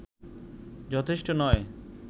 যথেষ্ট নয়